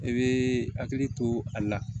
I bɛ hakili to a la